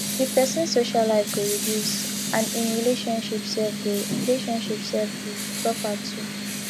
di pesin social life go reduce and im relationship sef go relationship sef go suffer too